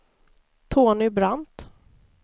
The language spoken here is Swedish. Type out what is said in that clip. Tony Brandt